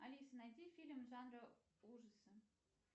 алиса найди фильм жанра ужасы